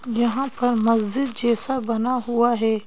यहां पर मस्जिद जैसा बना हुआ है।